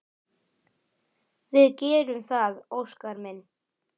Við gerum það, Óskar minn.